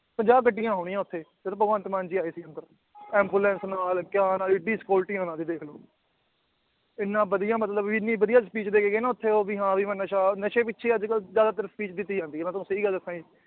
ਪੰਜਾਹ ਗੱਡੀਆਂ ਹੋਣੀਆਂ ਉੱਥੇ ਜਦ ਭਗਵੰਤ ਮਾਨ ਜੀ ਆਏ ਸੀ ਉੱਧਰ ambulance ਨਾਲ ਏਡੀ security ਉਹਨਾਂ ਦੀ ਦੇਖ ਲਓ ਇੰਨਾ ਵਧੀਆ ਮਤਲਬ ਇੰਨੀ ਵਧੀਆ speech ਦੇ ਕੇ ਗਏ ਨਾ ਉੱਥੇ ਵੀ ਹਾਂ ਵੀ ਮੈਂ ਨਸ਼ਾ ਨਸ਼ੇ ਪਿੱਛੇ ਹੀ ਅੱਜ ਕੱਲ੍ਹ ਜ਼ਿਆਦਾਤਰ speech ਦਿੱਤੀ ਜਾਂਦੀ ਹੈ ਮੈਂ ਤੁਹਾਨੂੰ ਸਹੀ ਗੱਲ ਜੀ